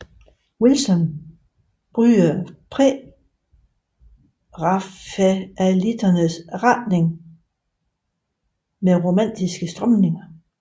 Wilson brydes prærafaelitternes retning med romantiske strømninger